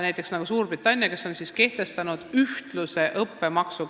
Näiteks Suurbritannia on kehtestanud kõigile ühtlase õppemaksu.